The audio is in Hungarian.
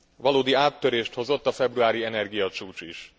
Valódi áttörést hozott a februári energiacsúcs is.